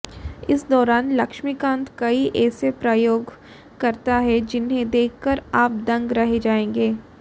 इस दौरान लक्ष्मीकांत कई ऐसे प्रयोग करता है जिन्हें देखकर आप दंग रह जाएंगे